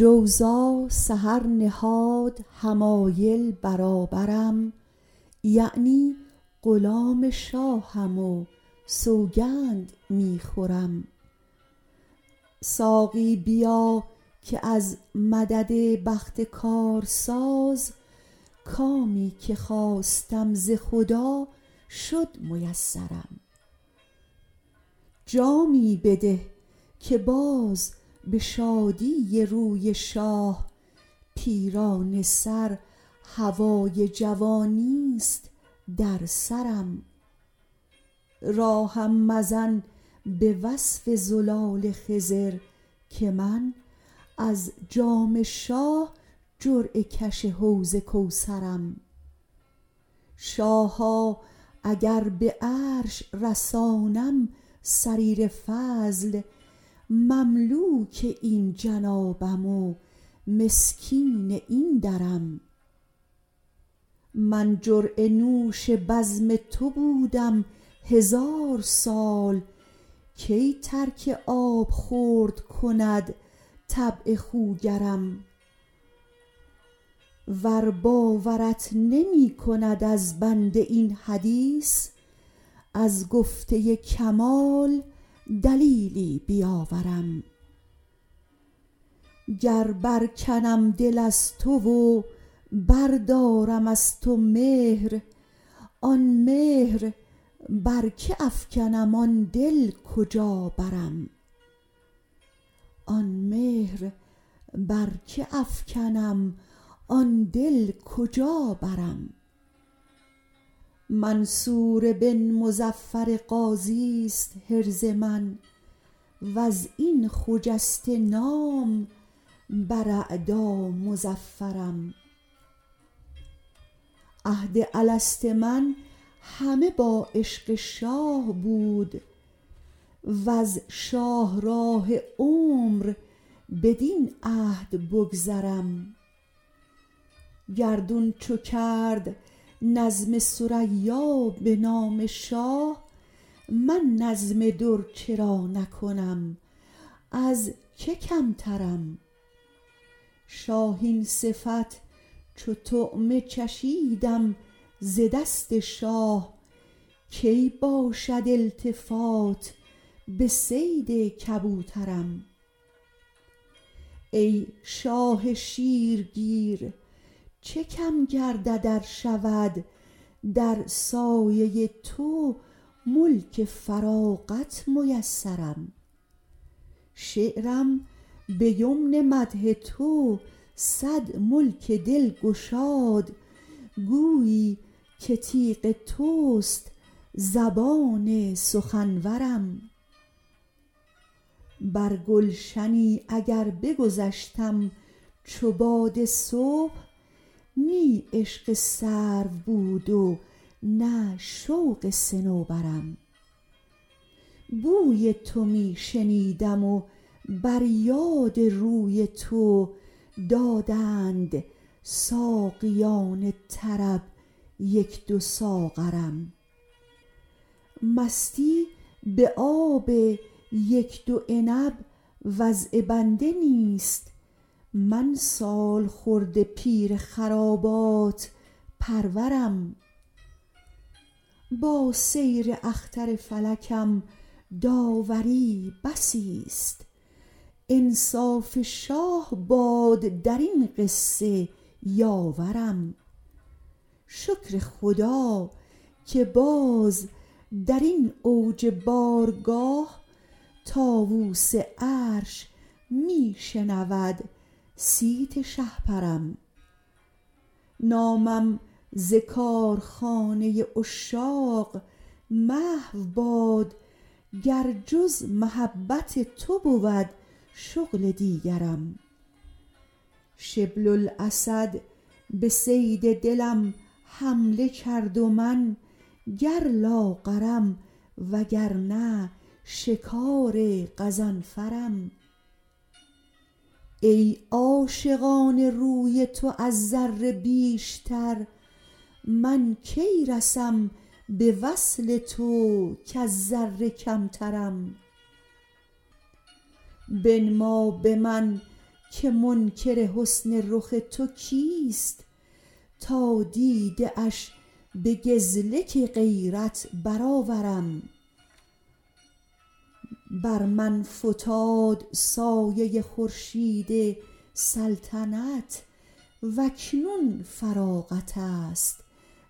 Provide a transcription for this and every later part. جوزا سحر نهاد حمایل برابرم یعنی غلام شاهم و سوگند می خورم ساقی بیا که از مدد بخت کارساز کامی که خواستم ز خدا شد میسرم جامی بده که باز به شادی روی شاه پیرانه سر هوای جوانیست در سرم راهم مزن به وصف زلال خضر که من از جام شاه جرعه کش حوض کوثرم شاها اگر به عرش رسانم سریر فضل مملوک این جنابم و مسکین این درم من جرعه نوش بزم تو بودم هزار سال کی ترک آبخورد کند طبع خوگرم ور باورت نمی کند از بنده این حدیث از گفته کمال دلیلی بیاورم گر برکنم دل از تو و بردارم از تو مهر آن مهر بر که افکنم آن دل کجا برم منصور بن مظفر غازیست حرز من و از این خجسته نام بر اعدا مظفرم عهد الست من همه با عشق شاه بود وز شاهراه عمر بدین عهد بگذرم گردون چو کرد نظم ثریا به نام شاه من نظم در چرا نکنم از که کمترم شاهین صفت چو طعمه چشیدم ز دست شاه کی باشد التفات به صید کبوترم ای شاه شیرگیر چه کم گردد ار شود در سایه تو ملک فراغت میسرم شعرم به یمن مدح تو صد ملک دل گشاد گویی که تیغ توست زبان سخنورم بر گلشنی اگر بگذشتم چو باد صبح نی عشق سرو بود و نه شوق صنوبرم بوی تو می شنیدم و بر یاد روی تو دادند ساقیان طرب یک دو ساغرم مستی به آب یک دو عنب وضع بنده نیست من سالخورده پیر خرابات پرورم با سیر اختر فلکم داوری بسیست انصاف شاه باد در این قصه یاورم شکر خدا که باز در این اوج بارگاه طاووس عرش می شنود صیت شهپرم نامم ز کارخانه عشاق محو باد گر جز محبت تو بود شغل دیگرم شبل الاسد به صید دلم حمله کرد و من گر لاغرم وگرنه شکار غضنفرم ای عاشقان روی تو از ذره بیشتر من کی رسم به وصل تو کز ذره کمترم بنما به من که منکر حسن رخ تو کیست تا دیده اش به گزلک غیرت برآورم بر من فتاد سایه خورشید سلطنت و اکنون فراغت است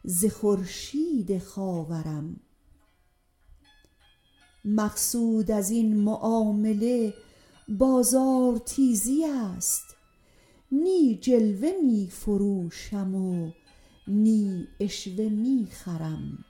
ز خورشید خاورم مقصود از این معامله بازارتیزی است نی جلوه می فروشم و نی عشوه می خرم